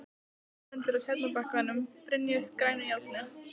Hún stendur á Tjarnarbakkanum, brynjuð grænu járni.